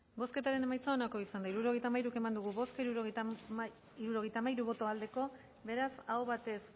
bozketaren emaitza onako izan da hirurogeita hamairu eman dugu bozka hirurogeita hamairu boto aldekoa beraz aho batez